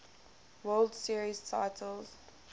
world series titles